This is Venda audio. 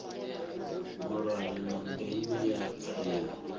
mulayo na ndeme ya tsaino